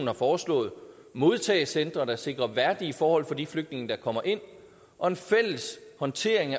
har foreslået modtagecentre der sikrer værdige forhold for de flygtninge der kommer ind og en fælles håndtering